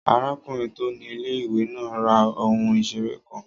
Arákùnrin tó ni ilé-ìwé náà ra ohun ìseré kan